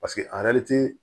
Paseke